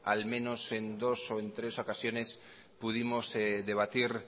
al menos en dos o en tres ocasiones pudimos debatir